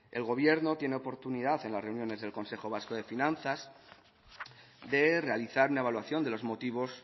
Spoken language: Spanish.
el gobierno tiene oportunidad en las reuniones del consejo vasco de finanzas de realizar una evaluación de los motivos